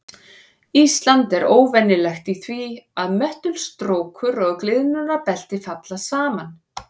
Ísland er óvenjulegt í því að möttulstrókur og gliðnunarbelti falli saman.